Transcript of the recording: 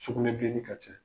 Sukunɛbilennin ka can